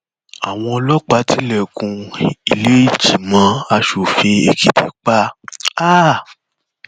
àwọn ọlọpàá tilẹkùn ìlẹẹjìmọ asòfin èkìtì pa um